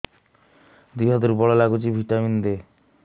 ଦିହ ଦୁର୍ବଳ ଲାଗୁଛି ଭିଟାମିନ ଦେ